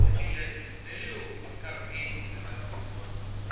это я не с целью оскорбления говорю вам